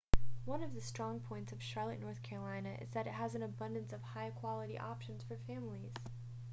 one of strong points of charlotte north carolina is that it has an abundance of high-quality options for families